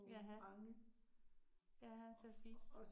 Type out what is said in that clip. Jaha, jaha til at spise